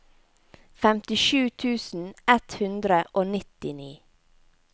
femtisju tusen ett hundre og nittini